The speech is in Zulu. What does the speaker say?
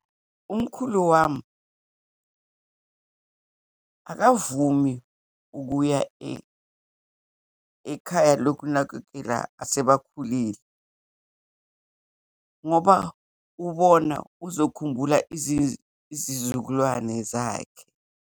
Umkhulu wami akavumi ukuya ekhaya lokunakekela asebakhulile, ngoba ubona uzokhumbula izizukulwane zakhe.